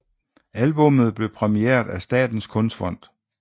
Albummet blev præmieret af Statens Kunstfond